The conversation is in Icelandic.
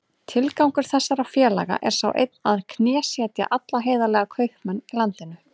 Tilgangur þessara félaga er sá einn að knésetja alla heiðarlega kaupmenn í landinu.